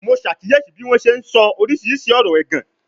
Mo ṣàkíyèsí bí wọ́n ṣe ń sọ oríṣiríṣi ọ̀rọ̀ ẹ̀gàn